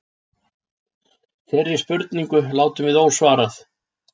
Þeirri spurningu látum við ósvarað.